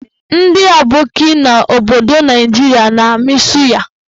Ndị aboki n'obodo Naijiria na-amị suya.